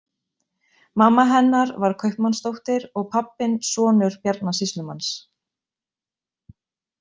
Mamma hennar var kaupmannsdóttir og pabbinn sonur Bjarna sýslumanns.